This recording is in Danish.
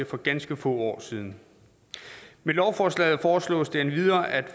for ganske få år siden med lovforslaget foreslås det endvidere at